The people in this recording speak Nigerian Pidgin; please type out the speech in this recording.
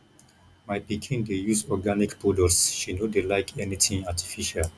my pikin dey use organic products she no dey like anything artificial